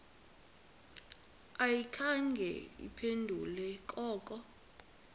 ayikhange iphendule koko